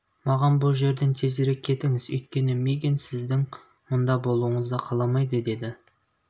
маған бұ жерден тезірек кетіңіз өйткені мигэн сіздің мұнда болуыңызды қаламайды деді